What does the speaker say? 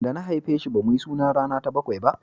da na haife shi ba mu yi suna rana ta bakwai ba